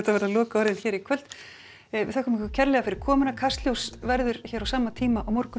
verða lokaorðin hér í kvöld við þökkum ykkur kærlega fyrir komuna kastljós verður hér á sama tíma á morgun